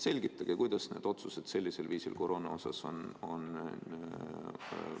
Selgitage, kuidas nende otsustega koroona kohta nii on läinud!